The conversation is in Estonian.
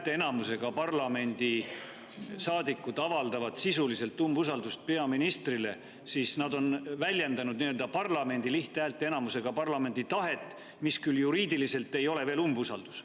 Kui nüüd parlamendi saadikud avaldavad lihthäälteenamusega sisuliselt umbusaldust peaministrile, siis nad on väljendanud lihthäälteenamusega parlamendi tahet, mis küll juriidiliselt ei ole veel umbusaldus.